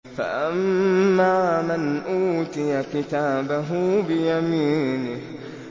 فَأَمَّا مَنْ أُوتِيَ كِتَابَهُ بِيَمِينِهِ